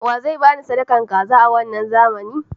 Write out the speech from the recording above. Waye zai bani sadakar kaza a wanna zamanin?